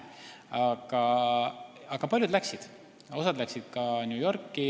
Nii et paljud läksid Londonisse ja osa läks ka New Yorki.